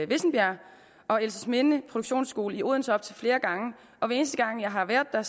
vissenbjerg og elsesminde produktionsskole i odense op til flere gange og hver eneste gang jeg har været der